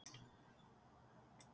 Veistu hvað ég er með í laun?